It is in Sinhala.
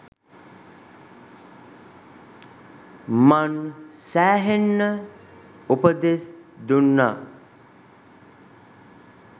මං සෑහෙන්න උපදෙස් දුන්නා